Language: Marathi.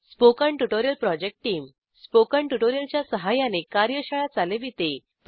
spoken tutorial project team spoken tutorial च्या सहाय्याने कार्यशाळा चालविते